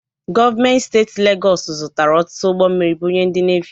Gọọmenti Steeti Legọọsụ zụtara ọtụtụ ụgbọ mmiri bunye ndị Nevi.